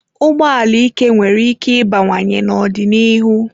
Ụgbọ ala ike nwere íké ịbawanye n'ọdịnihu.